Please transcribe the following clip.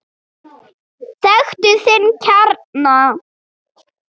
Þekktu þinn kjarna!